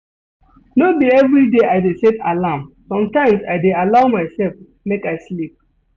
No be everyday I dey set alarm, sometimes I dey allow mysef make I sleep.